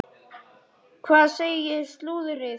Hvað segir slúðrið?